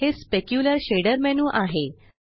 हे specular shader menu आहे